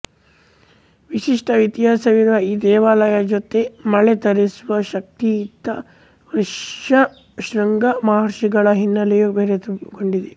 ವಿಶಿಷ್ಟ ಇತಿಹಾಸವಿರುವ ಈ ದೇವಳದ ಜೊತೆ ಮಳೆ ತರಿಸುವ ಶಕ್ತಿಯಿದ್ದ ಋಷ್ಯಶೃಂಗ ಮಹರ್ಷಿಗಳ ಹಿನ್ನೆಲೆಯೂ ಬೆರೆತುಕೊಂಡಿದೆ